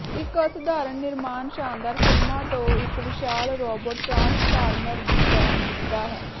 ਇੱਕ ਅਸਾਧਾਰਨ ਨਿਰਮਾਣ ਸ਼ਾਨਦਾਰ ਫਿਲਮਾਂ ਤੋਂ ਇੱਕ ਵਿਸ਼ਾਲ ਰੋਬੋਟ ਟ੍ਰਾਂਸਫਾਰਮਰ ਦੀ ਤਰ੍ਹਾਂ ਦਿਸਦਾ ਹੈ